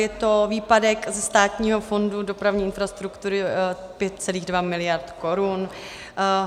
Je to výpadek Státního fondu dopravní infrastruktury 5,2 miliardy korun.